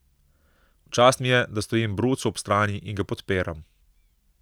V čast mi je, da stojim Brucu ob strani in ga podpiram.